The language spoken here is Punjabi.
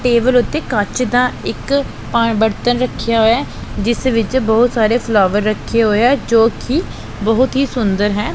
ਟੇਬਲ ਉਤੇ ਕੱਚ ਦਾ ਇੱਕ ਪਾਣ ਬਰਤਨ ਰੱਖਿਆ ਹੋ ਜਿਸ ਵਿੱਚ ਬਹੁਤ ਸਾਰੇ ਫਲੋਗਰ ਰੱਖੇ ਹੋਏ ਆ ਜੋ ਕਿ ਬਹੁਤ ਹੀ ਸੁੰਦਰ ਹੈ।